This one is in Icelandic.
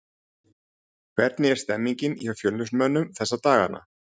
Hvernig er stemningin hjá Fjölnismönnum þessa dagana?